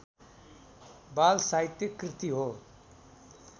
बालसाहित्य कृति हो